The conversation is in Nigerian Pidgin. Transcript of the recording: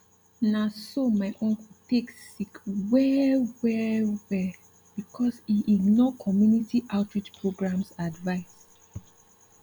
na so my uncle take sick well well well because e ignore community outreach programs advice